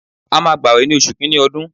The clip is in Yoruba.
A máa gbawe ní oṣù kìíní ọdún.